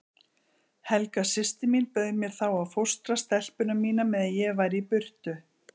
Helga systir mín bauð mér þá að fóstra stelpuna mína meðan ég væri í burtu.